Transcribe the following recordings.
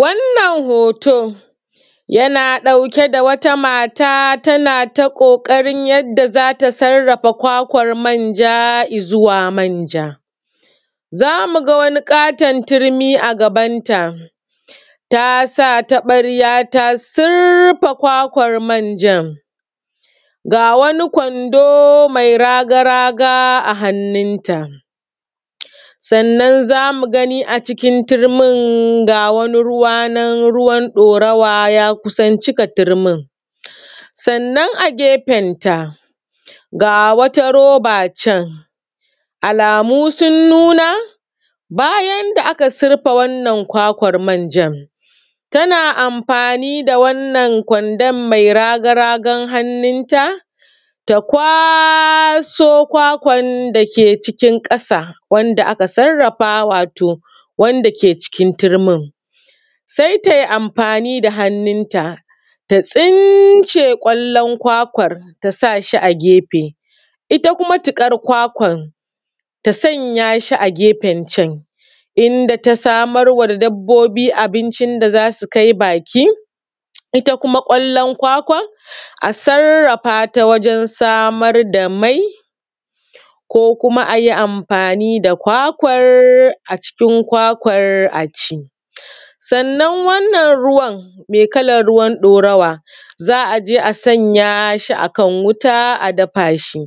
Wannan hoto yana ɗauke da wata mata tana ta ƙoƙarin yadda za ta sarrafa kwakwar manja izuwa manja. Za mu ga wani ƙaton turmi a gaban ta, ta sa taɓarya ta surfe kwakwar manjan, ga wani kwando mai raga-raga a hannunta. Sannan za mu gani acikin turmi ga wani ruwa nan ruwan ɗorawa ya cika turmin. Sannan a gefenta, ga wata roba can, alamu sun nuna, bayan da aka surfe wannan kwakwar manjan, tana amfani da wannan kwandon mai raga-ragar hannunta ta kwaso kwakwan dake cikin ƙasa, wanda aka sarrafa wato wanda ke cikin turmin. Sai ta yi amfani da hannunta, ta tsince ƙwallon kwakwar ta sa shi a gefe, ita kuma tuƙar kwakwar ta sanya shi a gefen can, inda ta samar wa dabbobi abincin da za su kai baki. Ita kuma ƙwallon kwakwan, a sarrafata wajen samar da mai, ko kuma a yi amfani da kwakwar, cikin kwakwar a ci. Sannan wannan ruwan, mai kalar ruwan ɗorawa, za a je a sanya shi a kan wuta a dafa shi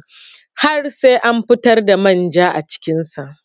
har sai an fitar da manja acikinsa.